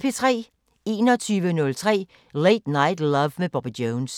21:03: Late Night Love med Bobby Jones